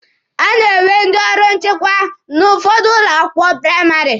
A na-enwe ndị ọrụ nchịkwa n'ụfọdụ ụlọ akwụkwọ praịmarị.